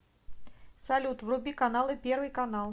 салют вруби каналы первый канал